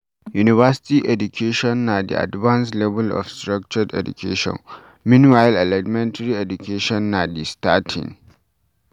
University education na di advanced level of structured education, meanwhile Elementary education na di starting